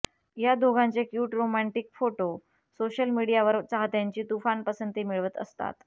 या दोघांचे cute romantic photo social मीडियावर चाहत्यांची तुफान पसंती मिळवत असतात